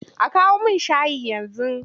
A kawo min shayi yanzu!